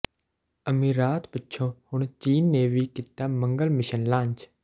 ਅਮੀਰਾਤ ਪਿੱਛੋਂ ਹੁਣ ਚੀਨ ਨੇ ਵੀ ਕੀਤਾ ਮੰਗਲ ਮਿਸ਼ਨ ਲਾਂਚ